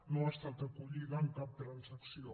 no ha estat acollida en cap transacció